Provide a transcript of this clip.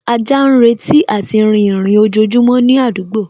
Ajá náà ń retí àti rìn ìrìn ojojúmọ́ ní àdúgbò